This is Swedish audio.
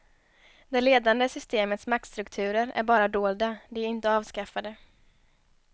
Det ledande systemets maktstrukturer är bara dolda, de är inte avskaffade.